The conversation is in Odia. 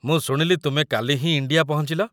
ମୁଁ ଶୁଣିଲି ତୁମେ କାଲି ହିଁ ଇଣ୍ଡିଆ ପହଞ୍ଚିଲ ।